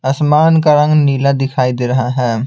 आसमान का रंग नीला दिखाई दे रहा है।